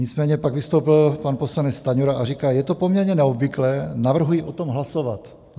Nicméně pak vystoupil pan poslanec Stanjura a říká: "Je to poměrně neobvyklé, navrhuji o tom hlasovat.